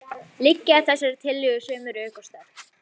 Liggja að þessari tillögu sömu rök og sterk.